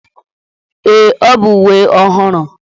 Ee, ọ bụ uwe ọhụrụ.